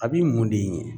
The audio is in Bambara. A b'i mun de ɲini